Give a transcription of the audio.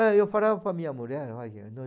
É e eu falava para a minha mulher